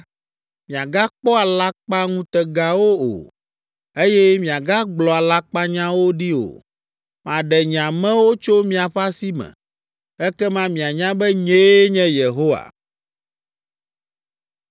miagakpɔ alakpaŋutegawo o, eye miagagblɔ alakpanyawo ɖi o. Maɖe nye amewo tso miaƒe asi me. Ekema mianya be nyee nye Yehowa.’ ”